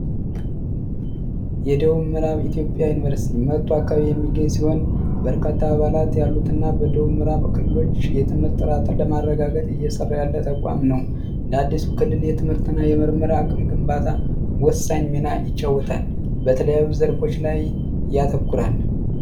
የደቡብ ምዕራብ ኢትዮጵያ ዩኒቨርሲቲ መጥቶ አካባቢ የሚገኝ ሲሆን በርካታ አባላት ያሉትና በደቡብ ምዕራብ ክልሎች የትምህርት ጥራትን ለማረጋገጥ እየሰራ ያለ ተቋም ነው ለአዲሱ ክልል የትምህርትና የምርምር አቅም ግንባታ ወሳኝ ሚና ይጫወታል በተለያዩ ዘርፎች ላይ ያተኩራል።